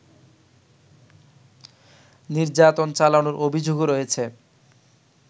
নির্যাতন চালানোর অভিযোগও রয়েছে